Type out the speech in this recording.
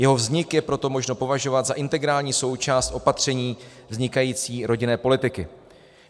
Jeho vznik je proto možno považovat za integrální součást opatření vznikající rodinné politiky.